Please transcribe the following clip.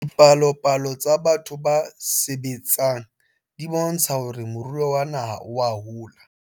Dipalopalo tsa batho ba sebetseng di bontsha hore moruo wa rona oa hola.